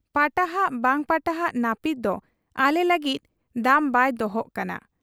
ᱯᱟᱴᱟᱦᱟᱜ ᱵᱟᱝ ᱯᱟᱴᱟᱦᱟᱜ ᱱᱟᱹᱯᱤᱛ ᱫᱚ ᱟᱞᱮ ᱞᱟᱹᱜᱤᱫ ᱫᱟᱢ ᱵᱟᱭ ᱫᱚᱦᱚᱜ ᱠᱟᱱᱟ ᱾